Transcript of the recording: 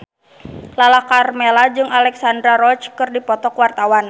Lala Karmela jeung Alexandra Roach keur dipoto ku wartawan